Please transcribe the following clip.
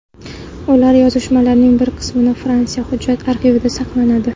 Ular yozishmalarining bir qismi Fransiya hujjat arxivida saqlanadi.